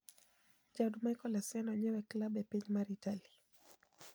Jaod Michael Essien onyiew klab e piny mar Itali